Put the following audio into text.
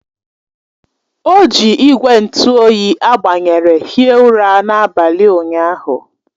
O ji igwe ntụ oyi a gbanyere hie ụra n'abalị ụnyahụ